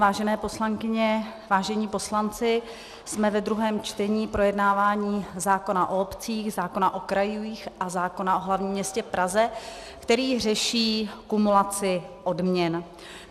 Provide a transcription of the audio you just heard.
Vážené poslankyně, vážení poslanci, jsme ve druhém čtení projednávání zákona o obcích, zákona o krajích a zákona o hlavním městě Praze, který řeší kumulaci odměn.